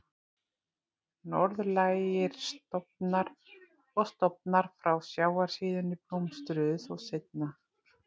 Norðlægir stofnar og stofnar frá sjávarsíðunni blómstruðu þó seinna.